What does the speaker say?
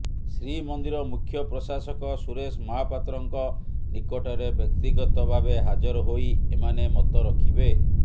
ଶ୍ରୀମନ୍ଦିର ମୁଖ୍ୟ ପ୍ରଶାସକ ସୁରେଶ ମହାପାତ୍ରଙ୍କ ନିକଟରେ ବ୍ୟକ୍ତିଗତ ଭାବେ ହାଜର ହୋଇ ଏମାନେ ମତ ରଖିବେ